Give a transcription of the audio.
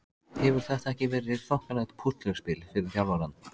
Hefur þetta ekki verið þokkalegt púsluspil fyrir þjálfarann?